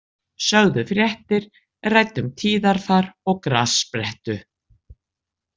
Sögðu fréttir, ræddu um tíðarfar og grassprettu.